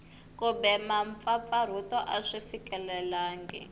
kumbe mpfampfarhuto a swi fikelelangi